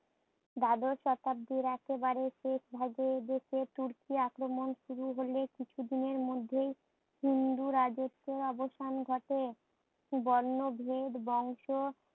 দ্বাদশ শতাব্দীর একেবারে শেষ ভাগে দেশে তুর্কি আক্রমণ শুরু হলে কিছু দিনের মধ্যেই হিন্দু রাজত্বের অবসান ঘটে। বর্ণভেদ বংশ